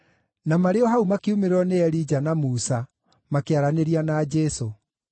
Na marĩ o hau makiumĩrĩrwo nĩ Elija na Musa, makĩaranĩria na Jesũ.